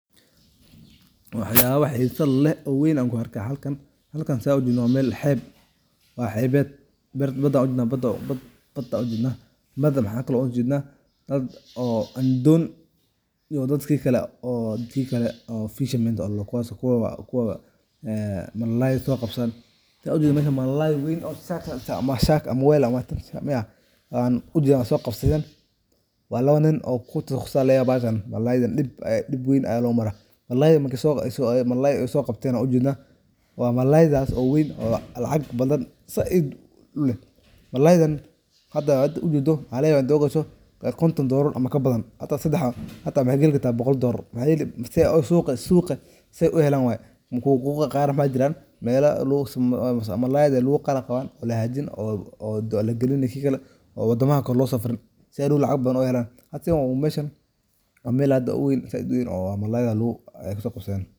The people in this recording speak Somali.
Waxyaba xerfadeh leeh oo weyn Aya ku arkah halkan. Halkan setha u jednoh wa meel xeb waxebit bada ujednah waxkali u jeddnah doon oo dadkali oo ladahoh fishmen kuwa malay soqabsadan sitha ujedoh meshan malalay saait amah weel AA ujedah soqabsadan wa lawa nin oo kutqasusay bahalkan mlalayda deb weyn Aya lo marah malay soqabteen ujednah wa malaydas oo weyn lacag bathan saait uleeh malayda hada ugadoh waxalagarabah kontoon dolaar amah xata waxakali kartah boqqol dollar waxayeli mise suqa setha I helan way suqa Qaar bajiran mela malayda lahakajin oo wadamaha Kali lo sarfin setha lacag bathan u helan hada sethan wa meel aad uweeyn oo malayda kusoqabsaden.